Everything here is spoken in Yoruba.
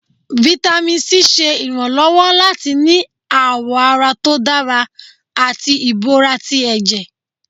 Vitamin c ṣe ìránlọwọ latí ní awọ àrà tó dárá atí ìbọrá tí ẹjẹ́.